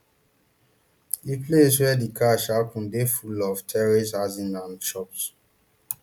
di place wia di crash happun dey full of terrace housing and shops